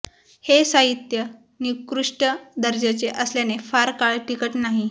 हे साहित्य निकृष्ट दर्जाचे असल्याने फार काळ टिकत नाही